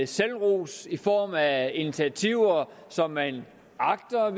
selvros i form af initiativer som man agter at